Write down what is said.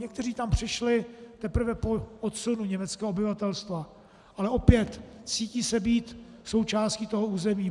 Někteří tam přišli teprve po odsunu německého obyvatelstva, ale opět, cítí se být součástí toho území.